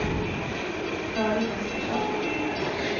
Karin Oskarsson